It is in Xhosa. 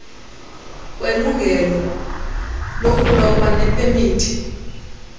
kwelungelo lokuloba nepemithi